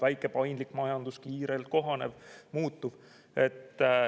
Väike paindlik majandus, kiirelt kohanev, muutuv.